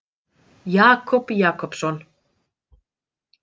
Jakob Jakobsson.